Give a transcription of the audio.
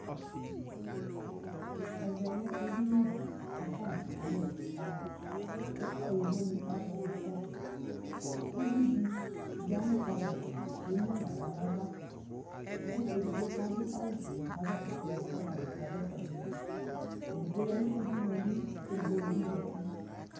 ɛvɛ lɛ ɛdini di kʋ akɔna yɛsɛ ka alʋ kʋ yɔvɔ dini azɔnʋ kɔtʋ, ʋvidi yanʋ cupboard li kʋ ɛmʋnʋ ala nʋ aɣa kʋ ɛdigbɔ kʋ adʋ awʋ ƒʋɛ kazɔƒa ɛsɛdi kʋ ɔtabi ka zɔ ƒʋaɛ nʋdʋ, ɛdigbɔ yanʋ ʋdʋnʋ li kʋ ɛdigbɔ bi zati